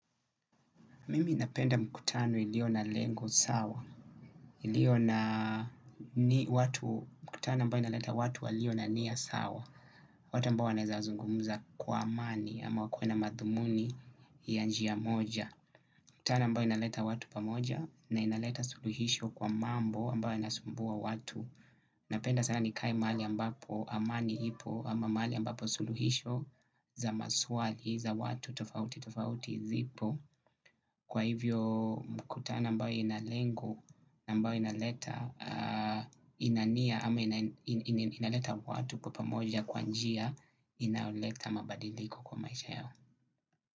Mimi napenda mkutano ilio na lengu sawa, ilio na ni watu, mkutano ambayo inaleta watu walio na nia sawa. Watu ambao wanaeeza zungumuza kwa amani ama wakue na madhumuni ya njia moja. Mkutano ambayo inaleta watu pamoja na inaleta suluhisho kwa mambo ambayo inasumbua watu. Napenda sana nikae mahali ambapo amani ipo ama mahali ambapo suluhisho za maswali za watu tofautitofauti zipo. Kwa hivyo mkutano ambayo ina lengo, ambayo inaleta ina nia ama inaleta watu kwa pamoja kwa njia inaleta mabadiliko kwa maisha yao.